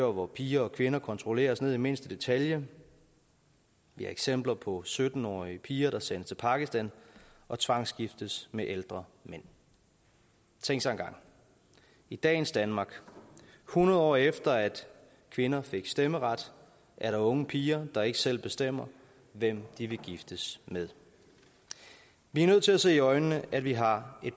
og hvor piger og kvinder kontrolleres ned i mindste detalje vi har eksempler på sytten årige piger der sendes til pakistan og tvangsgiftes med ældre mænd tænk sig engang i dagens danmark hundrede år efter at kvinderne fik stemmeret er der unge piger der ikke selv bestemmer hvem de vil giftes med vi er nødt til at se i øjnene at vi har